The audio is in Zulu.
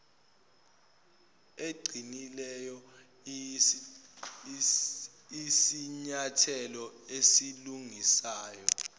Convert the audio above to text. eqinileyo iyisinyathelo esilungisayo